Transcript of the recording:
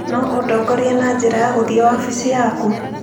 No ũndongorie na njĩra ya gũthiĩ wabici yaku?